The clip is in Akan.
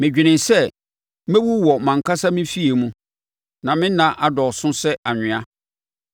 “Medwenee sɛ, ‘Mɛwu wɔ mʼankasa me fie mu, na me nna adɔɔso sɛ anwea.